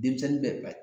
Denmisɛnnin bɛ